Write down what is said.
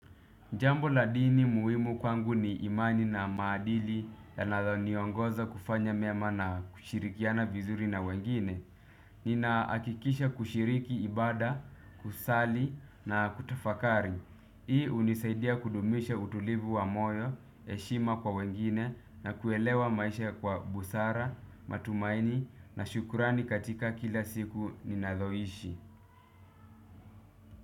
Jambo la dini muhimu kwangu ni imani na maadili yanayo niongoza kufanya mema na kushirikiana vizuri na wengine. Ninaakikisha kushiriki ibada, kusali na kutafakari. Hii unisaidia kudumisha utulivu wa moyo, eshima kwa wengine na kuelewa maisha kwa busara, matumaini na shukurani katika kila siku ninavyoishi.